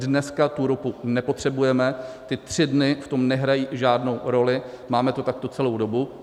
Dneska tu ropu nepotřebujeme, ty tři dny v tom nehrají žádnou roli, máme to takto celou dobu.